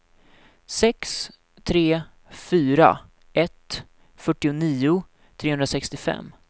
sex tre fyra ett fyrtionio trehundrasextiofem